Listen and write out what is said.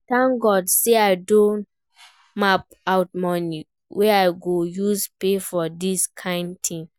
Thank God say I don map out money wey I go use pay for dis kin thing